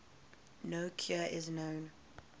no cure is known